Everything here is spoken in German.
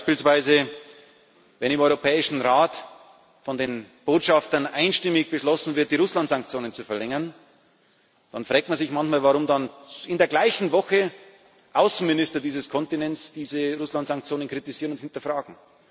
Beispielsweise wenn von den Botschaftern im Rat einstimmig beschlossen wird, die Russlandsanktionen zu verlängern, dann fragt man sich manchmal, warum dann in der gleichen Woche Außenminister dieses Kontinents diese Russlandsanktionen kritisieren und hinterfragen.